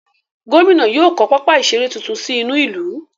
Gómìnà yóò kọ́ pápá ìseré tuntun sí inú ìlú.